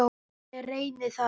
Ég reyni það.